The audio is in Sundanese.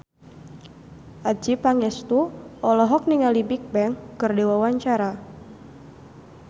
Adjie Pangestu olohok ningali Bigbang keur diwawancara